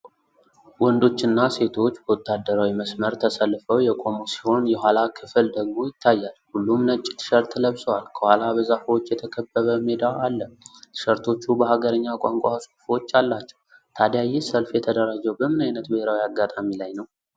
ወንዶችና ሴቶች በወታደራዊ መስመር ተሰልፈው የቆሙ ሲሆን፣ የኋላ ክፍል ደግሞ ይታያል። ሁሉም ነጭ ቲሸርት ለብሰዋል፤ ከኋላ በዛፎች የተከበበ ሜዳ አለ። ቲሸርቶቹ በሀገርኛ ቋንቋ ጽሑፎች አላቸው፤ ታዲያ ይህ ሰልፍ የተደራጀው በምን ዓይነት ብሔራዊ አጋጣሚ ላይ ነው?